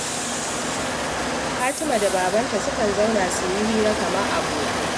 Fatima da babanta sukan zauna su yi hira kamar abokai